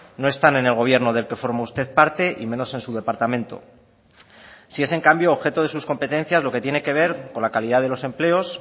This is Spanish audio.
no están en el gobierno del que forma usted parte y menos en su departamento sí es en cambio objeto de sus competencias lo que tiene que ver con la calidad de los empleos